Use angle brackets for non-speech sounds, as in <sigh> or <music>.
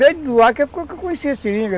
Desde <unintelligible> conheci a seringa.